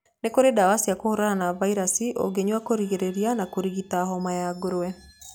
Nĩ kũrĩ ndawa cia kũhũrana na vairaci ũngĩnyua kũrigĩrĩria na kũrigita homa ya ngũrwe.